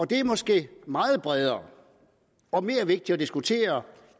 det er måske meget bredere og mere vigtigt at diskutere